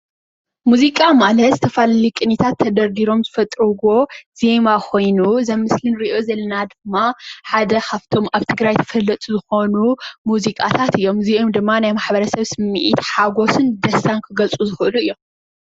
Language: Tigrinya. ሙዚቃ ማለት ዝተፈላለዩ ቅኒታት ተደርዲሮም ዝፈጥርዎ ዜማ ኾይኑ እዚ ኣብ ምስሊ እንሪኦ ዘለና ድማ ሓደ ካፍቶም ኣብ ትግራይ ተፈለጥቲ ዝኾኑ ሙዚቃታት እዮም። እዚኦም ድማ ናይ ማሕበረሰብ ስምዒት፣ ሓጎስን ደስታን ክገልፁ ዝኽእሉ እዮም።